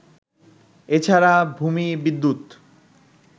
এ ছাড়া ভূমি, বিদ্যুৎ